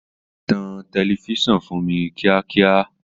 Tan tẹlifíṣàn fún mi kíákíá!